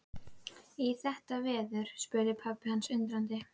Í þetta veður? spurði pabbi hans undrandi.